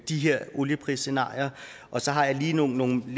de her olieprisscenarier og så har jeg lige nogle